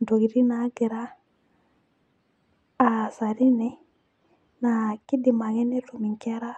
ntokitin naagira aasa teine. naa kidim ake netum inkera